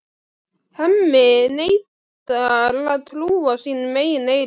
Hemmi neitar að trúa sínum eigin eyrum.